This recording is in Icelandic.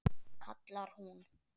kallar hún.